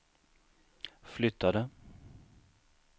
flyttade